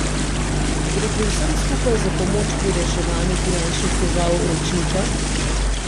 Gre pri vsem skupaj za pomoč pri reševanju finančnih težav Ročnika?